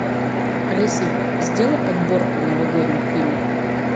алиса сделай подборку новогодних фильмов